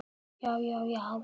Í fyrsta sinnið.